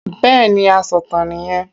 Bẹ́ẹ̀ni asọ̀tàn nì yẹn